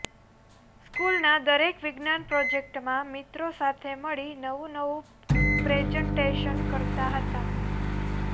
સ્કૂલના દરેક વિજ્ઞાન પ્રોજેક્ટરમાં મિત્રો સાથે મળી નવું નવું પ્રેજન્ટેશન કરતા હતા